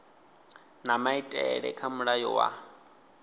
na maitele kha mulayo wa